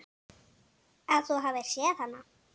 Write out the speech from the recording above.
Að þú hafir séð hana?